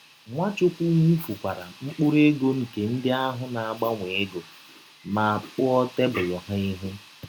Nwachụkwụ wụfukwara mkpụrụ egọ nke ndị ahụ na - agbanwe egọ, ma kpụọ tebụl ha ihụ.